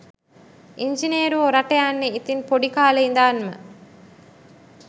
ඉංජිනේරුවො රට යන්නේ ඉතින් පොඩි කාලෙ ඉඳන්ම